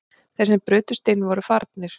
Þeir sem brutust inn voru farnir